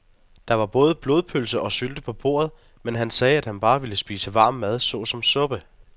Der var både blodpølse og sylte på bordet, men han sagde, at han bare ville spise varm mad såsom suppe.